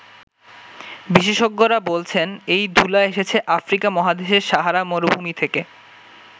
বিশেষজ্ঞরা বলছেন, এই ধূলা এসেছে আফ্রিকা মহাদেশের সাহারা মরুভূমি থেকে।